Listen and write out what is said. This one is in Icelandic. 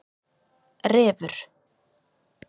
Refur